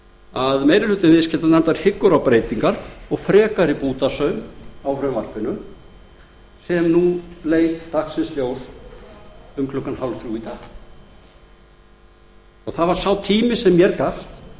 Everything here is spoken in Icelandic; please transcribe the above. að meiri hluti viðskiptanefndar hyggur á breytingar og frekari bútasaum á frumvarpinu sem nú leit dagsins ljós um klukkan hálfþrjú í dag það var sá tími sem mér gafst